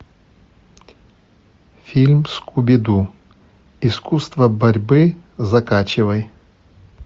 фильм скуби ду искусство борьбы закачивай